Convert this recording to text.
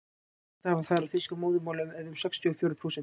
flestir hafa þar þýsku að móðurmáli eða um sextíu og fjórir prósent